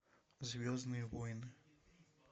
звездные войны